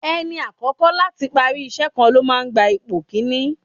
Ẹni àkọ́kọ́ láti parí ìṣe kan ló máa gba ipò kini.